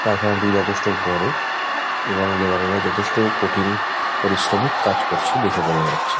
কারখানাটি যথেষ্ট বড়ো এবং লেবার -এরা যথেষ্ট কঠিন পরিশ্রমিক কাজ করছে দেখে বোঝা যাচ্ছে।